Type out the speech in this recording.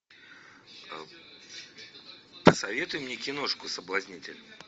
посоветуй мне киношку соблазнитель